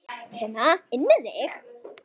Sona inn með þig!